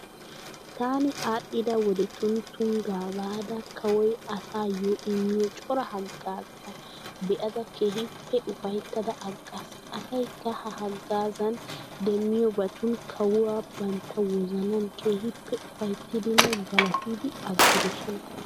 Taani aadhdhida wodetun Tuniggaa baada kawoy asaayyo immiyo cora haggaazzata be'ada keehippe ufayittada aggaas. Asayikka ha haggaazzan demiyobatun kawuwa banitta wozanan keehippe ufayittidinne galatidi aggidosona.